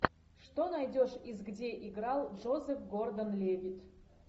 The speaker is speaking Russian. что найдешь из где играл джозеф гордон левитт